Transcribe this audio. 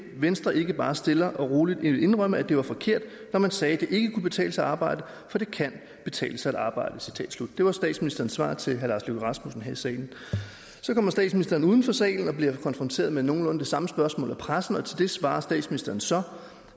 venstre ikke bare stille og roligt vil indrømme at det var forkert når man sagde at det ikke kunne betale sig at arbejde for det kan betale sig at arbejde det var statsministerens svar til herre lars løkke rasmussen her i salen så kommer statsministeren uden for salen og bliver konfronteret med nogenlunde det samme spørgsmål af pressen og til det svarer statsministeren så